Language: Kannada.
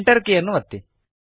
Enter ಕೀಯನ್ನು ಒತ್ತಿ